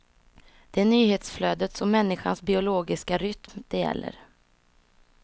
Det är nyhetsflödets och människans biologiska rytm det gäller.